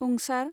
ं